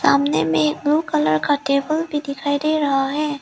सामने में एक ब्लू कलर का टेबल भी दिखाई दे रहा है।